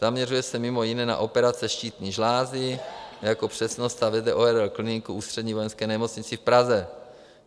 Zaměřuje se mimo jiné na operace štítné žlázy, jako přednosta vede ORL kliniku v Ústřední vojenské nemocnici v Praze.